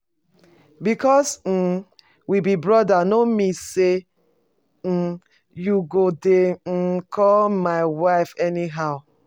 Because um we be brother no mean um say you go dey um call my wife anyhow